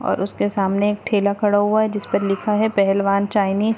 और उसके सामने एक ठेला खड़ा हुआ है जिस पर लिखा है पेहलवान चाइनिज ।